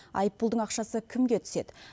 айыппұлдың ақшасы кімге түседі